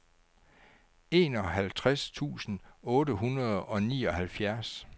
enoghalvtreds tusind otte hundrede og nioghalvfjerds